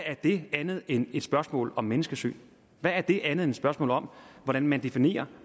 er det andet end et spørgsmål om menneskesyn hvad er det andet end et spørgsmål om hvordan man definerer